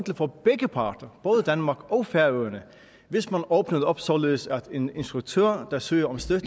for begge parter både danmark og færøerne hvis man åbnede op således at en instruktør der søger om støtte